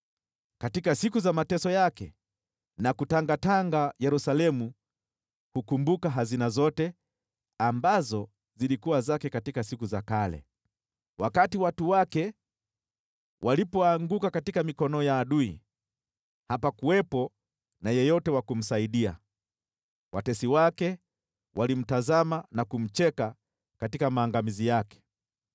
Katika siku za mateso yake na kutangatanga, Yerusalemu hukumbuka hazina zote ambazo zilikuwa zake siku za kale. Wakati watu wake walipoanguka katika mikono ya adui, hapakuwepo na yeyote wa kumsaidia. Watesi wake walimtazama na kumcheka katika maangamizi yake.